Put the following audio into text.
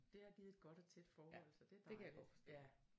Det har givet et godt og tæt forhold så det er dejligt